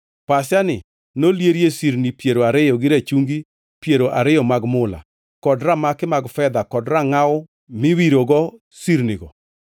pasiani nolierie sirni piero ariyo gi rachungi piero ariyo mag mula, kod ramaki mag fedha kod rangʼaw miriwogo sirnigo.